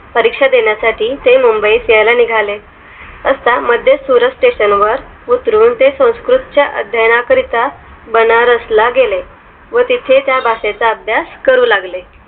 परीक्षा देण्यासाठी ते मुंबईत यायला निघाले आता मद्य सुरत स्टेशन वर उतरून संस्कृत च्या अध्याना करीता बनारसला गेले व तिथे त्या भाषेचा अभ्यास करू लागलॆ